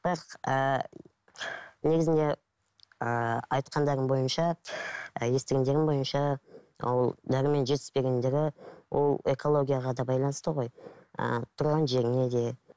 бірақ ыыы негізінде ыыы айтқандары бойынша і естігендерім бойынша ол дәрумен жетіспегендігі ол экологияға да байланысты ғой ыыы туған жеріңе де